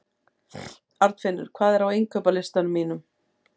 Arnfinnur, hvað er á innkaupalistanum mínum?